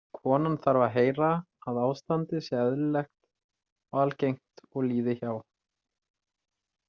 Konan þarf að heyra að ástandið sé eðlilegt og algengt og líði hjá.